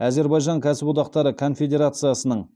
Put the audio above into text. әзербайжан кәсіподақтары конфедерациясының